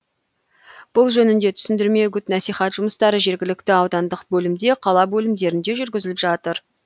бұл жөнінде түсіндірме үгіт насихат жұмыстары жергілікті аудандық бөлімде қала бөлімдерінде жүргізіліп жатыр